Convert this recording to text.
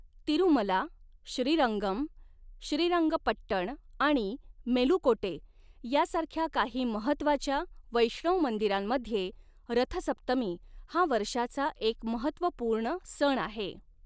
तिरुमला, श्रीरंगम, श्रीरंगपट्टण आणि मेलुकोटे यासारख्या काही महत्त्वाच्या वैष्णव मंदिरांमध्ये, रथसप्तमी हा वर्षाचा एक महत्त्वपूर्ण सण आहे.